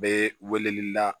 Bɛ weleli la